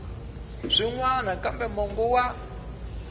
swin wana kambe mongo wa